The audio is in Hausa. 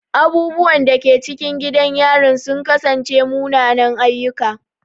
Abubuwan da ke cikin gidan yarin sun kasance munanan ayyuka.